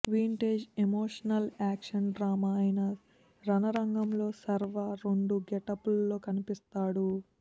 vintage emotional action drama అయిన రణరంగంలో శర్వా రెండు గెటప్ ల్లో కనిపిస్తాడు